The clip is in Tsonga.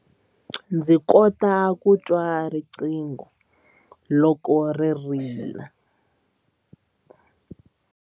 Ndzi kota ku twa riqingho loko ri rila.